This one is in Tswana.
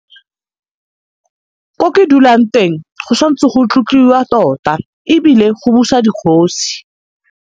Ko ke dulang teng go sa ntse go tlotliwa tota ebile go busa digosi.